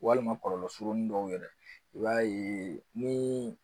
Walima kɔlɔlɔ surunin dɔw yɛrɛ i b'a ye ni